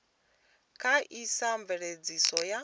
kha sia a mveledziso ya